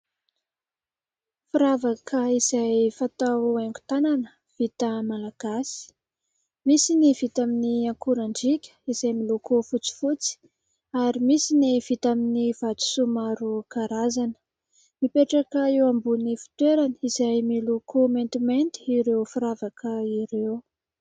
Firavaka izay fatao haingon-tanana vita malagasy : misy ny vita amin'ny akorandriaka izay miloko fotsifotsy ary misy ny vita amin'ny vatosoa maro karazana, mipetraka eo ambonin'ny fitoerana izay miloko maintimainty ireo firavaka ireo.